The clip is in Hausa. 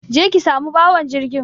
Je ki samu bawan jirgin.